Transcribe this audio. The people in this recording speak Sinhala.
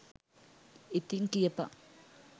ඉතින් කියපන්